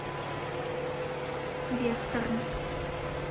вестерн